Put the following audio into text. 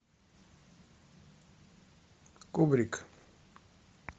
кубрик